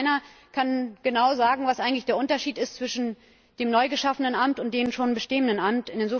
Ich glaube, keiner kann genau sagen, was eigentlich der Unterschied ist zwischen dem neu geschaffenen Amt und dem schon bestehenden Amt.